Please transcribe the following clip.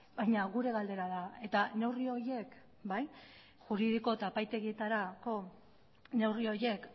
baina gure galdera da eta neurri horiek bai juridiko eta epaitegietarako neurri horiek